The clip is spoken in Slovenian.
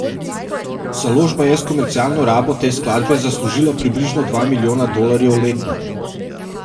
Založba je s komercialno rabo te skladbe zaslužila približno dva milijona dolarjev letno.